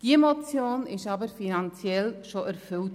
Diese Motion wurde jedoch finanziell bereits erfüllt.